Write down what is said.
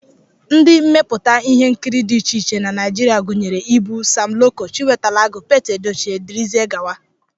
Ndị mmepụta ihe nkiri dị iche iche na Naijiria gụnyere Ibu, Sam Loco, Chiwetalu Agụ, Pete Edochie, dgz